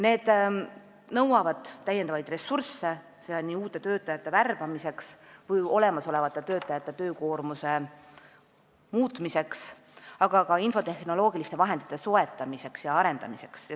Need nõuavad lisaressursse, seda uute töötajate värbamiseks või olemasolevate töötajate töökoormuse muutmiseks, aga ka infotehnoloogiliste vahendite soetamiseks ja arendamiseks.